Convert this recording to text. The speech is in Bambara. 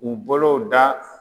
U bolow da